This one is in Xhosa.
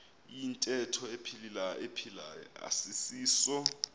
iyintetho ephilayo asisiso